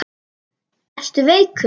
Ertu veikur?